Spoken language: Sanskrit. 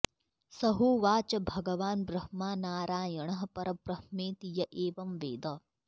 स होवाच भगवान् ब्रह्मा नारायणः परब्रह्मेति य एवं वेद